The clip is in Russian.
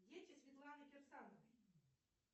дети светланы кирсановой